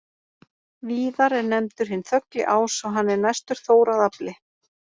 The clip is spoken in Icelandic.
Víðar er nefndur hinn þögli ás og hann er næstur Þór að afli.